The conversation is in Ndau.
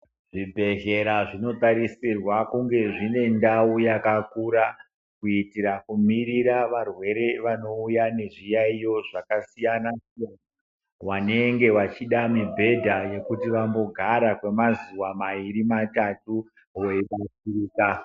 Zvibhedhlera zvinotarisirwa kunge zvine ndau yakakura kuitira kumirira varwere vanouya nezviyaiyo zvakasiyana wanenge wachida mibhedha yekuti vambogara mazuwa mairi matatu weibubuta.